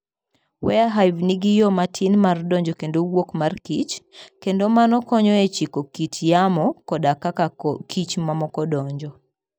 Warre Hive nigi yo matin mar donjo kendo wuok mar kich, kendo mano konyo e chiko kit yamo koda kaka koch mamoko donjo.